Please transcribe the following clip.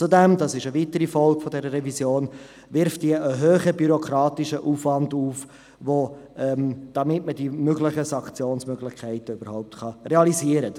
Zudem, das ist eine weitere Folge dieser Revision, generiert sie einen hohen bürokratischen Aufwand, damit man die Sanktionsmöglichkeiten überhaupt realisieren kann.